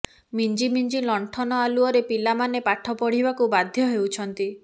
ମିଞ୍ଜି ମିଞ୍ଜି ଲଣ୍ଠନ ଆଲୁଅରେ ପିଲାମାନେ ପାଠପଢ଼ିବାକୁ ବାଧ୍ୟ ହେଉଛନ୍ତି